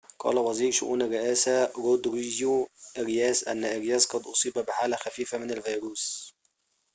قال وزير شئون الرئاسة رودريجو آرياس أن أرياس قد أصيب بحالة خفيفة من الفيروس